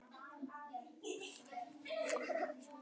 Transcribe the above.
Býður einstaklingum hagstæð framkvæmdalán